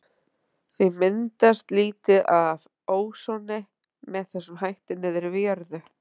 því myndast lítið af ósoni með þessum hætti niðri við jörðu